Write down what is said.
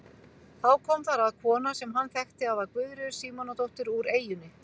Þá kom þar að kona sem hann þekkti að var Guðríður Símonardóttir úr eyjunni.